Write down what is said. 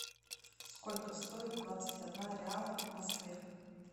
сколько стоит двадцать одна реала в москве